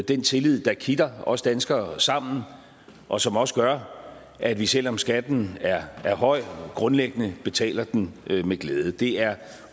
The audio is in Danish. den tillid der kitter os danskere sammen og som også gør at vi selv om skatten er høj grundlæggende betaler den med glæde det er